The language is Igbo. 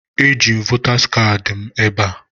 Eji m votas kaadị m ebe a